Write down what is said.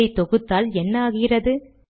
இதை தொகுத்தால் என்ன ஆகிறது